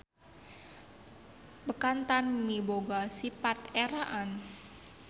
Bekantan miboga sipat eraan.